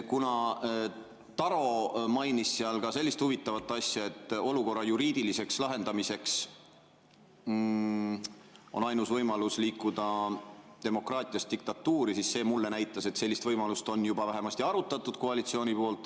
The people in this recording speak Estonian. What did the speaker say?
Kuna Taro mainis seal ka sellist huvitavat asja, et olukorra juriidiliseks lahendamiseks on ainus võimalus liikuda demokraatiast diktatuuri, siis see näitas mulle, et sellist võimalust on juba vähemasti arutatud koalitsioonis.